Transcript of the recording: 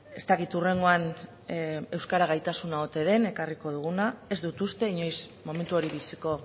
ez dakit hurrengoan euskara gaitasuna ote den ekarriko diguna ez dut uste inoiz momentu hori biziko